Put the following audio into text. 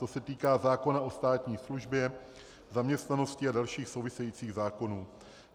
To se týká zákona o státní službě, zaměstnanosti a dalších souvisejících zákonů.